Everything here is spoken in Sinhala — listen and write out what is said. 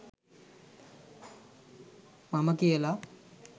මම කියලා